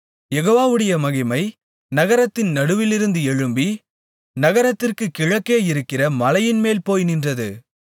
யெகோவாவுடைய மகிமை நகரத்தின் நடுவிலிருந்து எழும்பி நகரத்திற்குக் கிழக்கே இருக்கிற மலையின்மேல் போய் நின்றது